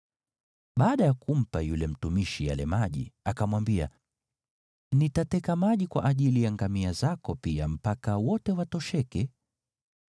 Baada ya kumpa yule mtumishi yale maji, akamwambia, “Nitateka maji kwa ajili ya ngamia zako pia mpaka wote watosheke.”